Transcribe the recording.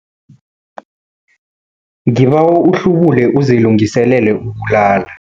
Ngibawa uhlubule uzilungiselele ukulala.